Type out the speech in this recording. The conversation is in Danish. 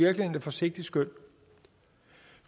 forsigtigt skøn